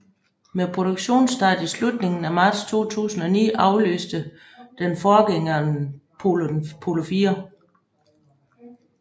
Med produktionsstart i slutningen af marts 2009 afløste den forgængeren Polo IV